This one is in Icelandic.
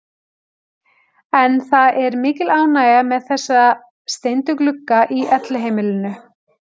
En það er mikil ánægja með þessa steindu glugga í Elliheimilinu.